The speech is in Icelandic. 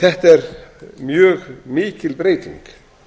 þetta er mjög mikil breyting